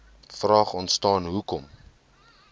vraag ontstaan hoekom